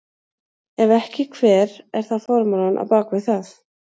Ef ekki hver er þá formúlan á bak við það?